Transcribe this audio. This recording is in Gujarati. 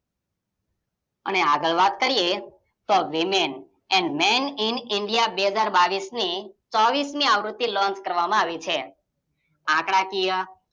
આગળ વાત કર્યે તો Woman an man in india બે હાજર બાવીસની ચોવીસમી આવૃત્તિ લોન્ચ કરવામાં આવી છે આંકડાકીય